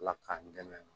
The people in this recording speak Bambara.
Ala k'an dɛmɛ